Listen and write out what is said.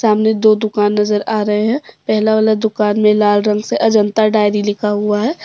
सामने दो दुकान नजर आ रहे है पहला वाला दुकान में लाल रंग से अजंता डायरी लिखा हुआ है।